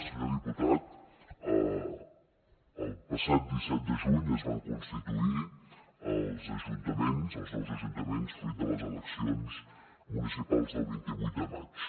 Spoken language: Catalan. senyor diputat el passat disset de juny es van constituir els ajuntaments els nous ajuntaments fruit de les eleccions municipals del vint vuit de maig